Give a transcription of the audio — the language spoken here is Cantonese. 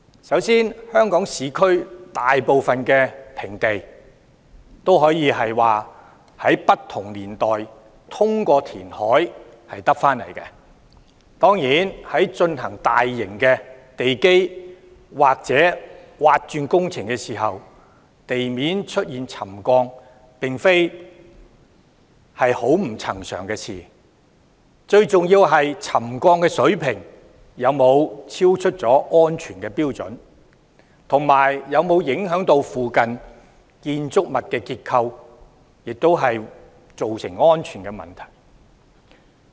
首先，香港市區大部分平地均可以說是在不同年代通過填海取得，當然，在進行大型的地基或鑽挖工程時，地面出現沉降並非很不尋常，最重要的是沉降水平有否超出安全標準，以及有否影響附近建築物的結構，造成安全問題。